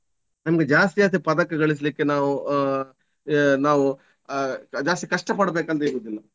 ನಮ್ಗೆ ಜಾಸ್ತಿ ಜಾಸ್ತಿ ಪದಕಗಳಿಸ್ಲಿಕ್ಕೆ ನಾವು ಆಹ್ ನಾವು ಆಹ್ ಜಾಸ್ತಿ ಕಷ್ಟ ಪಡ್ಬೇಕಂತಿರುದಿಲ್ಲ.